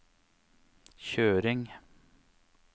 kjøring